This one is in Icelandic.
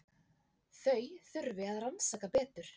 Þau þurfi að rannsaka betur.